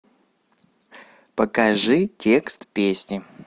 покажи текст песни